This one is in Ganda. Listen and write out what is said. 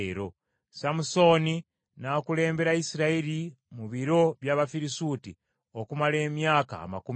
Samusooni n’akulembera Isirayiri mu biro by’Abafirisuuti, okumala emyaka amakumi abiri.